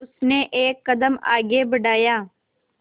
उसने एक कदम आगे बढ़ाया